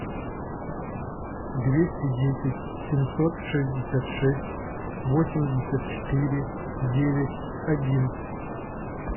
двести десять семьсот шестьдесят шесть восемьдесят четыре девять один